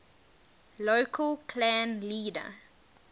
local clan leader